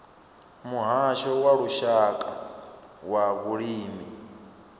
muhasho wa lushaka wa vhulimi